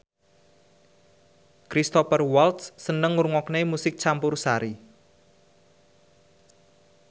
Cristhoper Waltz seneng ngrungokne musik campursari